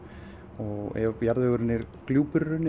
og ef jarðvegurinn er gljúpur